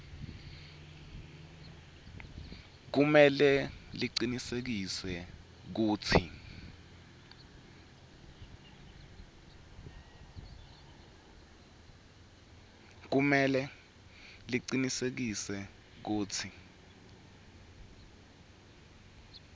kumele licinisekise kutsi